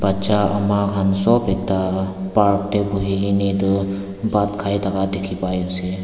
bacha ama kan sob ekta park de bui kina etu bhat kai daka diki pai ase.